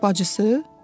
Bacısı?